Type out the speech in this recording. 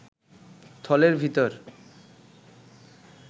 থলের ভিতর